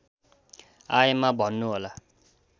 आएमा भन्नुहोला